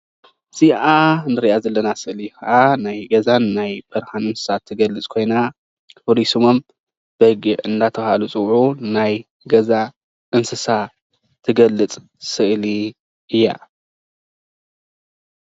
እዚአ እንሪአ ዘለና ምስሊ ከዓ ናይ ገዛን ናይ በረካን እንስሳት ትገልፅ ኮይና ፍሉይ ስሞም በጊዕ እናተበሃሉ ዝፅውዑ ናይ ገዛ እንስሳ ትገልፅ ስእሊ እያ።